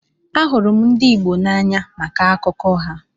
Ahụrụ m ndị Igbo n'anya maka akụkọ ha.